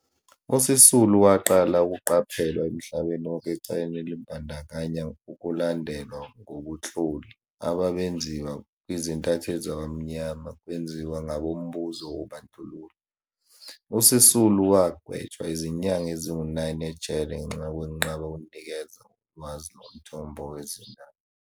USisulu waqala ukuqaphelwa emhlabeni wonke ecaleni elibandakanya ukulandelwa ngobunhloli ababenziwa kwizintatheli zabamnyama kwenziwa ngabombuzo wobandlululo. USisulu wagwetshwa izinyanga ezingu-9 ejele ngenxa yokwenqaba ukunikeza ngolwazi lomthombo wezindaba.